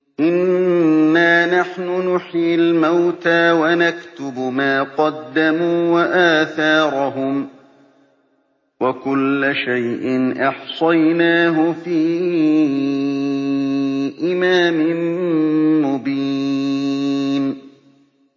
إِنَّا نَحْنُ نُحْيِي الْمَوْتَىٰ وَنَكْتُبُ مَا قَدَّمُوا وَآثَارَهُمْ ۚ وَكُلَّ شَيْءٍ أَحْصَيْنَاهُ فِي إِمَامٍ مُّبِينٍ